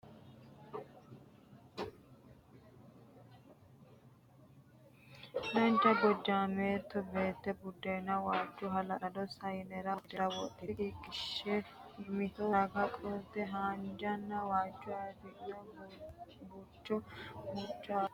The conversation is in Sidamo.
Dancha gojjaameetto beetto buddeena waajjo hala'lado sayinera woyi tirete wodhite umose qiqqishshe mitto ragiri qolte haanjanna waajjo afi'no burricha waanca albaanni wodhite sagalese ittanni no.